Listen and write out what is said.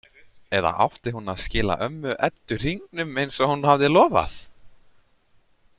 Eða átti hún að skila ömmu Eddu hringnum eins og hún hafði lofað?